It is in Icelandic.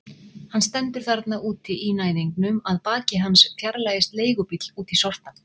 Hann stendur þarna úti í næðingnum, að baki hans fjarlægist leigubíll út í sortann.